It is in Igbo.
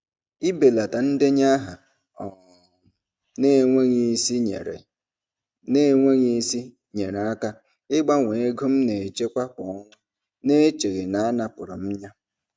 Ịbelata ndenye aha um na-enweghị isi nyeere na-enweghị isi nyeere aka ịbawanye ego m na-echekwa kwa ọnwa n'echeghị na a napụrụ m ya.